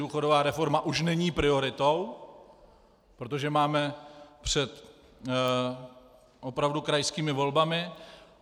Důchodová reforma už není prioritou, protože máme před opravdu krajskými volbami.